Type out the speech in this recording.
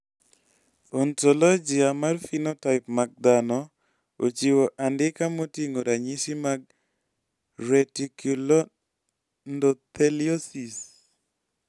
Ontologia mar phenotype mag dhano ochiwo andika moting`o ranyisi mag Reticuloendotheliosis.